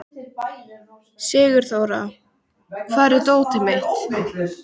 Sigurþóra, hvar er dótið mitt?